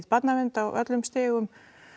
barnavernd á öllum stigum